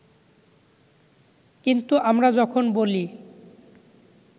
কিন্তু আমরা যখন বলি